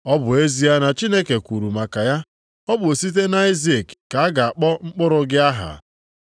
ọ bụ ezie na Chineke kwuru maka ya, “Ọ bụ site nʼAịzik ka a ga-akpọ mkpụrụ gị aha.” + 11:18 \+xt Jen 21:12\+xt*